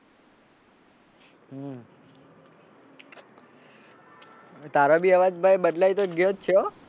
તારો બી અવાજ ભાઈ બદલાઈ તો ગયો જ છે હો.